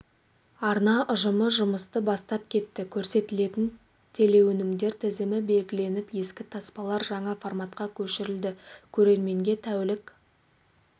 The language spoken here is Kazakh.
арна ұжымы жұмысты бастап кетті көрсетілетін телеөнімдер тізімі белгіленіп ескі таспалар жаңа форматқа көшірілді көрерменге тәулік